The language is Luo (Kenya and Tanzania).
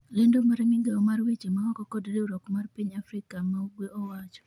" lendo mar migawo mar weche maoko kod riwruok mar piny Afrika ma ugwe owacho